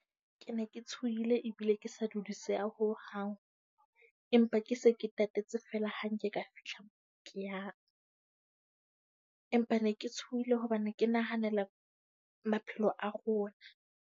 Ke ne ke tshoile ebile ke sa dudiseha ho hang, empa ke se ke tatetse fela ha nke ka fihla kea , empa ne ke tshohile hobane ke nahanela maphelo a rona.